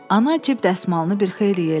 Ana cib dəsmalını bir xeyli yellədi.